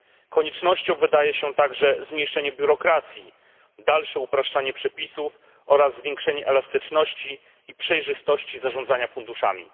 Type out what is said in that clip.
Koniecznością wydaje się także zmniejszeni biurokracji, dalsze upraszczanie przepisów oraz zwiększenie elastyczności i przejrzystości zarządzania funduszami.